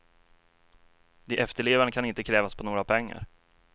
De efterlevande kan inte krävas på några pengar.